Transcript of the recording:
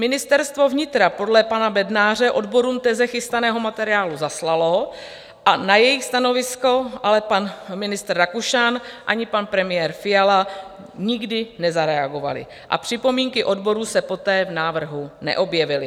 Ministerstvo vnitra podle pana Bednáře odborům teze chystaného materiálu zaslalo a na jejich stanovisko, ale pan ministr Rakušan, ani pan premiér Fiala nikdy nezareagovali a připomínky odborů se poté v návrhu neobjevily.